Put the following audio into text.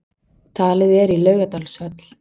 Talið er í Laugardalshöll